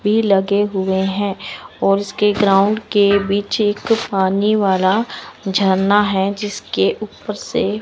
भी लगे हुए हैं और इसके ग्राउंड के बीच एक पानी वाला झरना है जिसके ऊपर से--